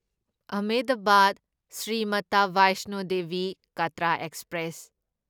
Ahmedabad Shri Mata Vaishno Devi Katra express